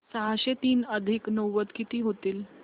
सहाशे तीन अधिक नव्वद किती होतील